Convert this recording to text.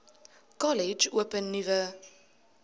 kollege open nuwe